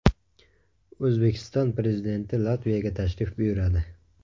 O‘zbekiston Prezidenti Latviyaga tashrif buyuradi.